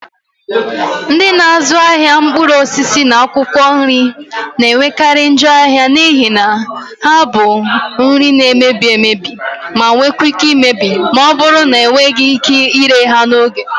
Ndị na-azụ ahịa mkpụrụ osisi na akwụkwọ nri na-enwekarị njọ ahịa n'ihi na ha bụ nri na-emebi emebi ma nwee ike imebi ma ọ bụrụ na enweghị ike ire ha n'oge